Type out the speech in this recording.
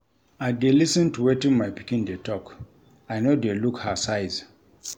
I dey lis ten to wetin my pikin dey talk, I no dey look her size.